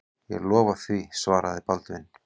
Ég lofa því, svaraði Baldvin.